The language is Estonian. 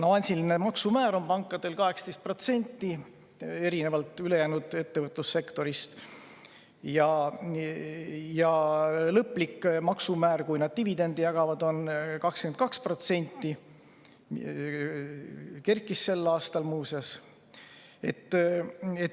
Avansiline maksumäär on pankadel 18%, erinevalt ülejäänud ettevõtlussektorist, ja lõplik maksumäär, kui nad dividende jagavad, on 22%, mis sel aastal kerkis, muuseas.